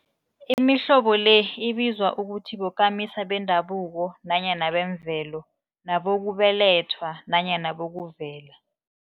Imihlobo le ibizwa ukuthi bokamisa bendabuko nanyana bemvelo, nabokubelethwa nanyana bokuvela.